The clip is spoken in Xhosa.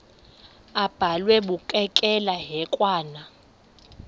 abhalwe bukekela hekwane